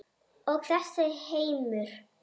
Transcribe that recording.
Og þessi heimur?